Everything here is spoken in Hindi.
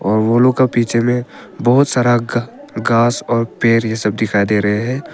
बबूल के पीछे में बहुत सारा घास और पेड़ यह सब दिखाई दे रहे हैं।